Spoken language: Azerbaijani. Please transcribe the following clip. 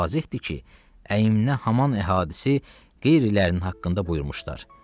Və vazəhdir ki, əyimnə haman əhdisi qeyrilərinin haqqında buyurmuşlar.